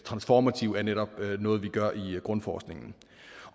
transformative netop er noget vi gør i grundforskningen